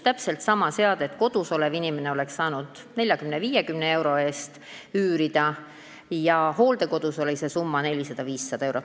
Täpselt sama seadet oleks kodus olev inimene saanud üürida 40–50 euro eest, hooldekodus oli see summa 400–500 eurot.